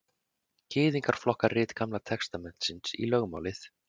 gyðingar flokka rit gamla testamentisins í lögmálið